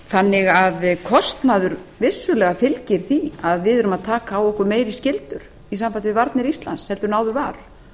þannig að kostnaður vissulega fylgir því að við erum að taka á okkur meiri skyldur í sambandi við varnir íslands heldur en áður var